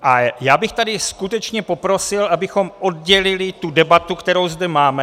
A já bych tady skutečně poprosil, abychom oddělili tu debatu, kterou zde máme.